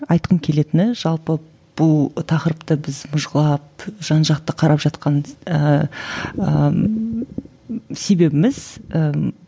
айтқым келетіні жалпы бұл тақырыпты біз мыжғылап жан жақты қарап жатқан ііі себебіміз ііі